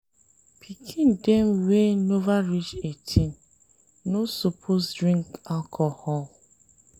Pikin dem wey nova reach 18 no suppose dey drink alcohol